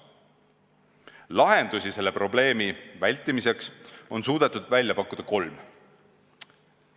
Lahendusi selle probleemi vältimiseks on suudetud välja pakkuda kolm.